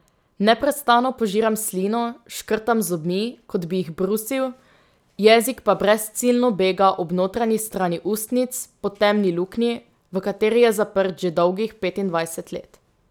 Neprestano požiram slino, škrtam z zobmi, kot bi jih brusil, jezik pa brezciljno bega ob notranji strani ustnic, po temni luknji, v kateri je zaprt že dolgih petindvajset let.